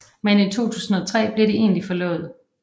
Men i 2003 bliver de egentlig forlovet